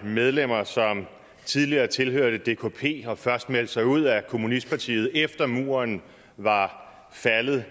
har medlemmer som tidligere tilhørte dkp og først meldte sig ud af kommunistpartiet efter muren var faldet